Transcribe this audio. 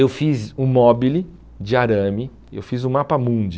Eu fiz um móbile de arame, eu fiz um mapamundi,